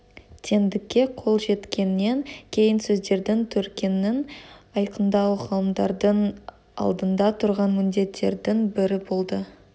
теңдікке қол жеткеннен кейін сөздердің төркінін айқындау ғалымдардың алдында тұрған міндеттердің бірі болды